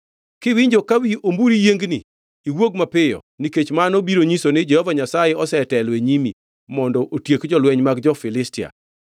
Kiwinjo ka wi omburi yiengni, iwuog mapiyo nikech mano biro nyiso ni Jehova Nyasaye osetelo e nyimi mondo otiek jolweny mag jo-Filistia.”